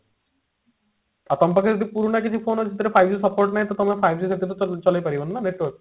ଅପଙ୍କାଙ୍କ ପାଖରେ ଯଦି ପୁରୁଣା କିଛି ସେଥିରେ five G support ନାହିଁ ତ ତମେ five G ସେଥିରେ ଚଲେଇ ଚଳେଇ ପାରିବନି ନା better